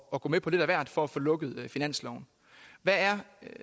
at gå med på lidt af hvert for at få lukket finansloven hvad er